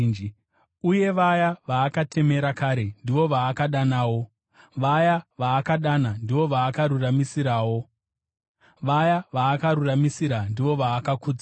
Uye vaya vaakatemera kare, ndivo vaakadanawo; vaya vaakadana, ndivo vaakaruramisirawo; vaya vaakaruramisira, ndivo vaakakudzawo.